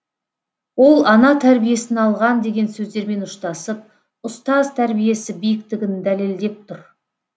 ол ана тәрбиесін алған деген сөздермен ұштасып ұстаз тәрбиесі биіктігін дәлелдеп тұр